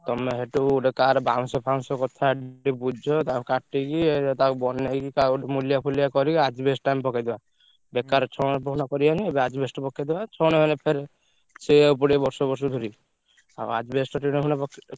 ତମେ ସେଠୁ ଗୋଟେ କାହାର ବାଉଁଶ ଫାଉଁଶ ଗଛ କଥା ଟିକେ ବୁଝ ତାକୁ କାଟିକି ଉ ତାକୁ ବନେଇକି କାହାକୁ ଗୋଟେ ମୁଲିଆ ଫୁଲିଆ କରିକି asbestos ଟା ଆମେ ପକେଇଦବା। ବେକାର ଛଣ ଫଣ କରିଆନି asbestos ପକେଇଦବା ଛଣ ହେଲେ ଫେରେ ଛେଇଆକୁ ପଡିବ ବର୍ଷକୁ ବର୍ଷ ଧରି। ଆଉ asbestos ଟିଣ ଫିଣ ପକେଇ।